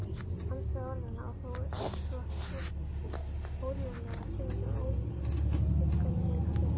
Andstæða orðanna og þó svo órjúfanlega tengdur ófullkomleika þeirra.